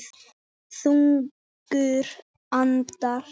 Þungur andar